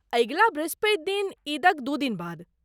अगिला बृहस्पति दिन, ईदक दू दिन बाद।